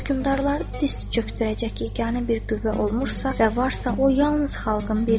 Hökmədarlara diz çöktürəcək yeganə bir qüvvə olmuşsa və varsa, o yalnız xalqın birliyidir.